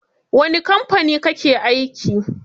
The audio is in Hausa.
Wani kamfani kake aiki?